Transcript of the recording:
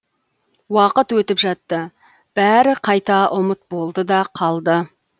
уақыт өтіп жатты бәрі қайта ұмыт болды да қалды